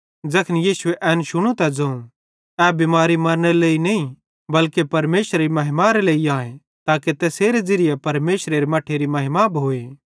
ज़ैखन यीशुए एन शुनू त ज़ोवं ए बिमारी मरनेरे लेइ नईं बल्के परमेशरेरी महिमारे लेइ आए ताके तैसेरे ज़िरिये परमेशरेरे मट्ठेरी महिमा भोए